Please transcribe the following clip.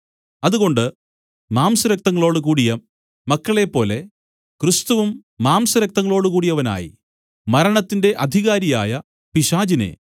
അതുകൊണ്ട് മാംസരക്തങ്ങളോട് കൂടിയ മക്കളെപ്പോലെ ക്രിസ്തുവും മാംസരക്തങ്ങളോട് കൂടിയവനായി മരണത്തിന്റെ അധികാരിയായ പിശാചിനെ